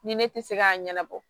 Ni ne tɛ se k'a ɲɛnabɔ